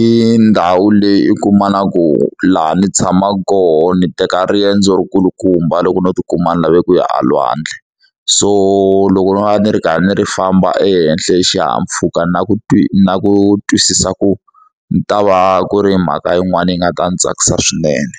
i ndhawu leyi i kumaka ku laha ndzi tshamaka kona ni teka riendzo ri kulukumba loko no tikuma ni lave ku ya a lwandle so loko no va ni ri karhi ndzi ri famba ehenhla hi xihahampfuka na ku twi na ku twisisa ku ni ta va ku ri mhaka yin'wana yi nga ta ndzi tsakisa swinene.